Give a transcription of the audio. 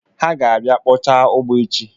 Ha ga-abịa kpọcha ugbo echi.